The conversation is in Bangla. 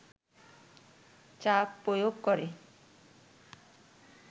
চাপ প্রয়োগ করে